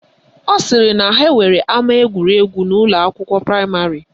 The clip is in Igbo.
Ọ sịrị na ha nwere ama egwuregwu n'ụlọakwụkwọ praịmarị